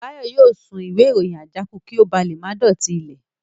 Báyọ̀ yóò sun ìwé ìròyìn àjákù kí ó ba lè má dọ̀tí ilẹ̀